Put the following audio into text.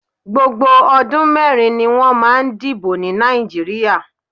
Gbogbo ọdún mẹrin ni wọ́n máa ń dìbò ní Nàìjíríà.